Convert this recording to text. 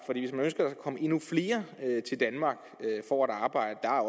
kommer endnu flere til danmark for at arbejde der